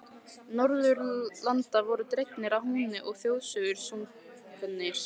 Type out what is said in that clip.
Norðurlanda voru dregnir að húni og þjóðsöngvar sungnir.